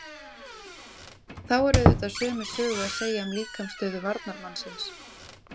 Þá er auðvitað sömu sögu að segja um líkamsstöðu varnarmannsins.